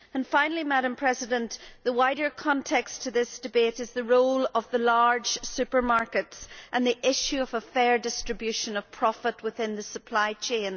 Finally, the wider context to this debate is the role of the large supermarkets and the issue of a fair distribution of profit within the supply chain.